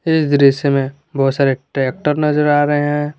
इस दृश्य में बहुत सारे ट्रैक्टर नजर आ रहे है।